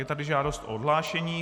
Je tady žádost o odhlášení.